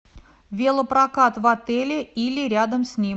велопрокат в отеле или рядом с ним